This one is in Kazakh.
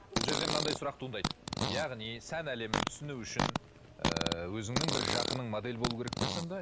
бұл жерде мынандай сұрақ туындайды яғни сән әлемін түсіну үшін ыыы өзіңнін бір жақының модель болуы керек пе сонда